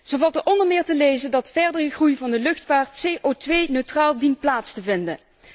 Zo valt er onder meer te lezen dat verdere groei van de luchtvaart CO 2 neutraal dient plaats te vinden.